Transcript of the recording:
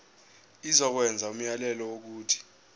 izokwenza umyalelo wokuthi